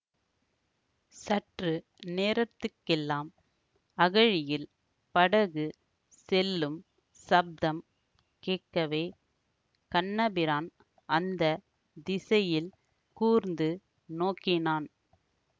சற்று நேரத்துக்கெல்லாம் அகழியில் படகு செல்லும் சப்தம் கேட்கவே கண்ணபிரான் அந்த திசையில் கூர்ந்து நோக்கினான்